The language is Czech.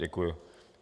Děkuji.